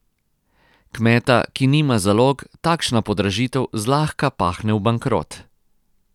Kmeta, ki nima zalog, takšna podražitev zlahka pahne v bankrot.